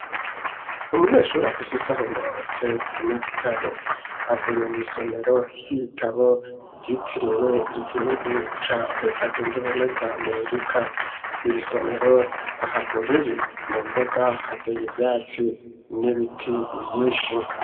Umunyeshuri afise isaho mu ntoke n'igitabo avuye mw'isomero ry'ibitabo ryitiriwe igihugu ca Reta zunze ubumwe za Amerika iri somero ahantu riri mu mbuga hateye ivyatsi n'ibiti vyishi.